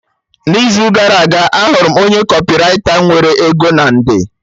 N'izu gara aga, ahụrụ m onye kọpịraita nwere ego na nde